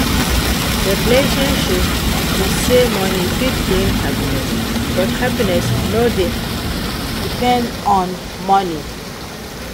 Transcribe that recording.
di relationship be say money fit bring happiness, but happiness no dey depend on money.